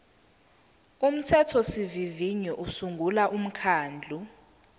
umthethosivivinyo usungula umkhandlu